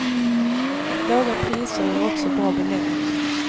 Låga priser ger också bra beläggning.